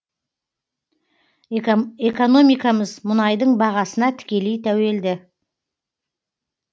экономикамыз мұнайдың бағасына тікелей тәуелді